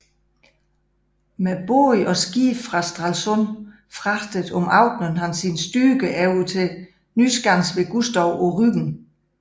Med både og skibe fra Stralsund fragtede om aftenen han sine styrker over til Nyskansen ved Gustow på Rügen